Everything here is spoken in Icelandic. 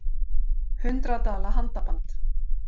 Hundrað dala handaband